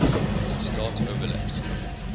start overlaps